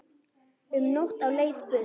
Um nótt á leið burt